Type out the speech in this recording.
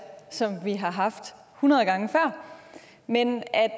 som vi har haft hundrede gange før men at